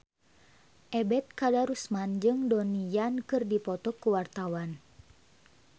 Ebet Kadarusman jeung Donnie Yan keur dipoto ku wartawan